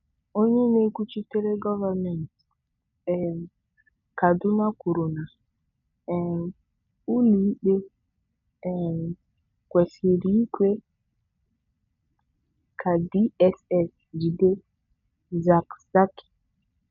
Onye na-ekwuchitere gọọmentị um Kaduna kwuru na um ụlọ ikpe um kwesịrị ikwe ka DSS jide Zakzaky.